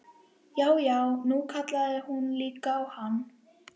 Já, já, nú kallaði hún líka á hann!